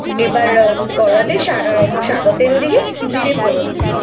আবার কড়াতে সা.. সাদা তেল দিয়ে জিরে ফোড়ন দিয়ে,